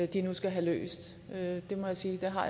de nu skal have løst det må jeg sige jeg har